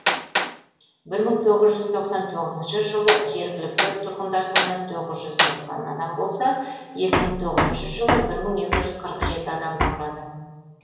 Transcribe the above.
бір мың тоғыз жүз тоқсан тоғызыншы жылы жергілікті тұрғындар саны тоғыз жүз тоқсан адам болса екі мың тоғызыншы жылы бір мың екі жүз қырық жетінші адамды құрады